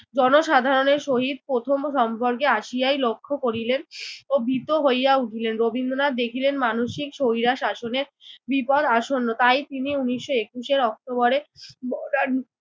জনসাধারণের সহিত প্রথম সম্পর্কে আসিয়াই লক্ষ্য করিলেন ও ভীত হইয়া উঠিলেন। রবীন্দ্রনাথ দেখিলেন মানসিক স্বৈরা শাসনের বিপদ আসন্ন। তাই তিনি উনিশশো একুশে অক্টোবরের মডার্ন